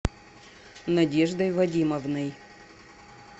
надеждой вадимовной